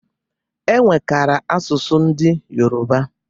E nwekara asụsụ ndị Yoroba